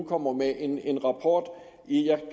kommer med en en rapport